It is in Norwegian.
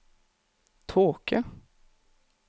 tåke